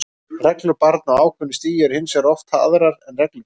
Reglur barna á ákveðnu stigi eru hins vegar oft aðrar en reglur fullorðinna.